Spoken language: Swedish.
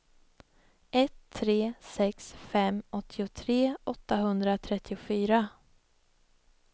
ett tre sex fem åttiotre åttahundratrettiofyra